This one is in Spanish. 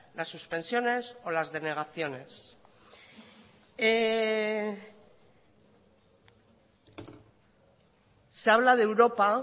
las suspensiones o las denegaciones se habla de europa